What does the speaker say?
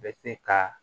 Bɛ se ka